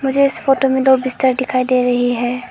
इस फोटो में दो बिस्तर दिखाई दे रही है।